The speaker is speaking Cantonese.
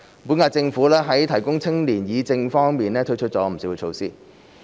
本屆政府在青年議政方面推出了不少措施。